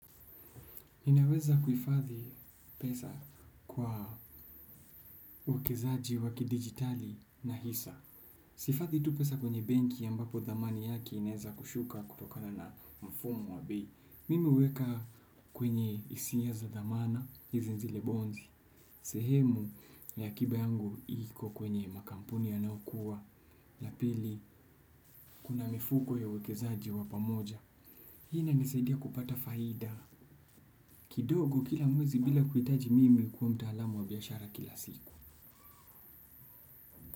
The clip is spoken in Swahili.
Ninaweza kuhifadhi pesa kwa uwekezaji wa kidigitali na hisa. Sihifadhi tu pesa kwenye benki ambapo thamani yake inaweza kushuka kutokana na mfumo wa bei. Mimi huweka kwenye isiya za thamana, hizi ni zile bonzi. Sehemu ya akiba yangu iko kwenye makampuni yanayokuwa. La pili kuna mifuko ya uwekezaji wa pamoja. Hii inanisaidia kupata faida kidogo kila mwezi bila kuhitaji mimi kuwa mtaalamu wa biashara kila siku.